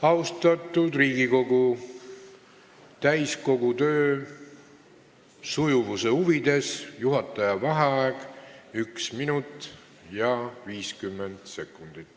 Austatud Riigikogu, täiskogu töö sujuvuse huvides on nüüd juhataja vaheaeg 1 minut ja 50 sekundit.